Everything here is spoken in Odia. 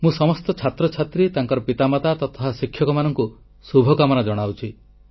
ମୁଁ ସମସ୍ତ ଛାତ୍ରଛାତ୍ରୀ ତାଙ୍କର ମାତାପିତା ତଥା ଶିକ୍ଷକମାନଙ୍କୁ ଶୁଭକାମନା ଜଣାଉଛି